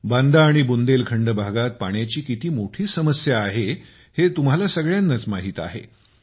बांदा आणि बुंदेलखंड भागात पाण्याची किती मोठी समस्या आहे हे तुम्हाला सगळ्यांना माहितच आहे